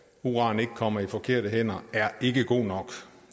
uran ikke kommer i forkerte hænder er ikke god nok